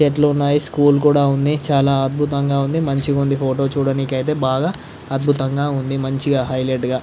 చెట్లు ఉన్నాయి స్కూల్ కూడా ఉంధి. చాలా అద్భుతంగా ఉంది. మంచిగా ఉంది. ఫోటో చూడడానికి బాగా అద్భుతంగా ఉంది. మంచిగా హైలైట్ గా --